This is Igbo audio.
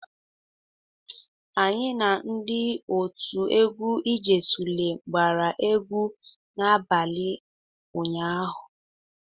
Anyị na ndị otu egwu "ejesulem gbara egwu n'abalị ụnyaahụ.